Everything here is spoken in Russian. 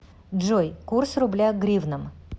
джой курс рубля к гривнам